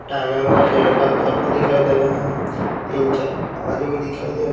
तीन चार आदमी दिखाई दे रहे है।